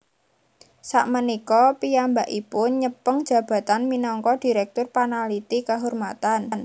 Sakmenika piyambakipun nyepeng jabatan minangka dirèktur panaliti kehormatan